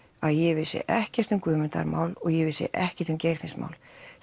að ég vissi ekkert um Guðmundar mál og ég vissi ekkert um Geirfinns mál